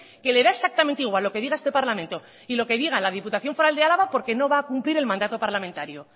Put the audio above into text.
que le da exactamente igual lo que diga este parlamento y lo que diga la diputación foral de álava porque no va a cumplir el mandato parlamentario